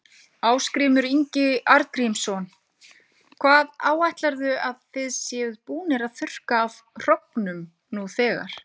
Ásgrímur Ingi Arngrímsson: Hvað áætlarðu að þið séuð búnir að þurrka af hrognum nú þegar?